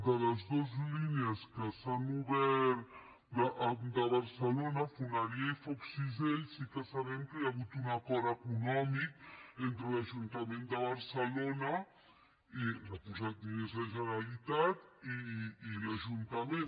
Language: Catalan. de les dos línies que s’han obert de barcelona foneria i foc cisell sí que sabem que hi ha hagut un acord econòmic entre l’ajuntament de barcelona que ha posat diners la generalitat i l’ajuntament